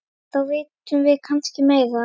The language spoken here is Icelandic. Þá vitum við kannski meira.